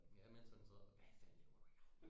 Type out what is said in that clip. Ja mens han sad hvad fanden laver du her